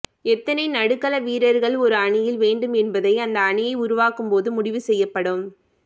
எத்தனை நடுக்கள வீரர்கள் ஒரு அணியில் வேண்டும் என்பதை அந்த அணியை உருவாக்கும் போது முடிவுசெய்யப்படும்